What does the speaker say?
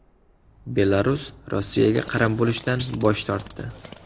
Belarus Rossiyaga qaram bo‘lishdan bosh tortdi.